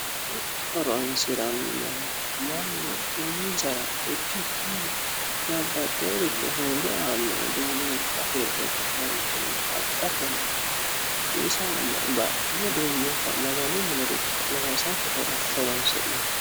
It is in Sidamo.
Mittu Horonisirrano manni horonisarra ikkikini babbaxinoricho huura aano udunnubba hirre Ka'netinni abattenni hakki saeno ba'no uddunubba maganu miniricho loosate horonisinanni